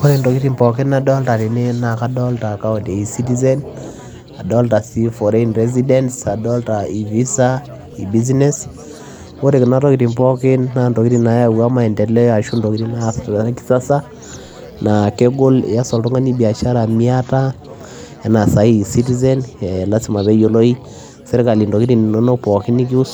Oree entokii pookin nadolita tene naa [e citizen foreign residence e visa e business oree kuna naa intokitin nayaua maendeleo lazima peyiee eyiolo intokitin ininok pookin oree kuna